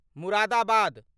Moradabad